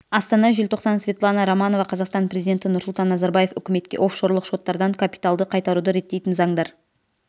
астана желтоқсан светлана романова қазақстан президенті нұрсұлтан назарбаев үкіметке оффшорлық шоттардан капиталды қайтаруды реттейтін заңдар